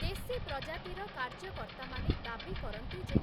ଦେଶୀ ପ୍ରଜାତିର କାର୍ଯ୍ୟକର୍ତ୍ତାମାନେ ଦାବି କରନ୍ତି ଯେ,